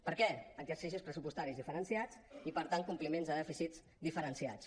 per què exercicis pressupostaris diferenciats i per tant compliments de dèficits diferenciats